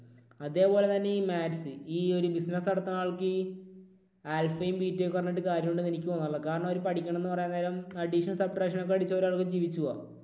അതേപോലെ തന്നെ ഈ ഒരു maths. ഈ ഒരു business നടത്തുന്ന ആൾക്ക് ഈ alpha യും beta യും ഒക്കെ പറഞ്ഞിട്ട് കാര്യമുണ്ട് എന്ന് എനിക്ക് തോന്നുന്നില്ല. കാരണം അവർ പഠിക്കുന്നത് എന്ന് പറയാൻ നേരം addition, subtraction ഒക്കെ അടിച്ച് ഒരാൾക്ക് ജീവിച്ചു പോകാം.